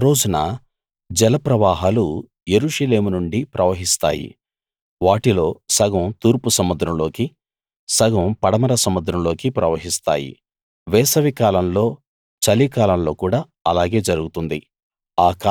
ఆ రోజున జల ప్రవాహాలు యెరూషలేము నుండి ప్రవహిస్తాయి వాటిలో సగం తూర్పు సముద్రంలోకి సగం పడమర సముద్రంలోకి ప్రవహిస్తాయి వేసవికాలంలో చలికాలంలో కూడా అలాగే జరుగుతుంది